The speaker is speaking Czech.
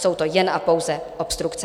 Jsou to jen a pouze obstrukce.